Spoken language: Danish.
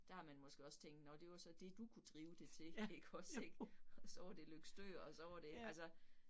Der har man måske også tænkt, nåh det var så det du kunne drive det til ikke også ik, og så var det Løgstør og så var det altså